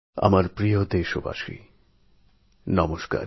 আমার প্রিয় দেশবাসী নমস্কার